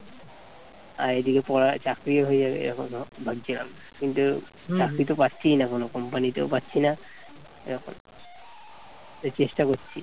আর এই দিকে পড়া চাকরিও হয়ে যাবে এইরকম এইরকম ধরে ভাবছিলাম কিন্তু চাকরি তো পাচ্ছিই না কোন কোন company ও পারছিনা এরকম তাই চেষ্টা করছি।